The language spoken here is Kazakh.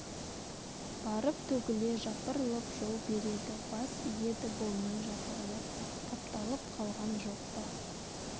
барып төгле жапырылып жол береді бас иеді болмай жапырылып тапталып қалған жоқ па